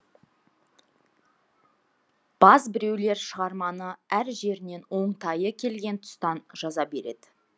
баз біреулер шығарманы әр жерінен оңтайы келген тұстан жаза береді